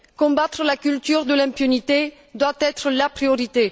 Combattre la culture de l'impunité doit être la priorité.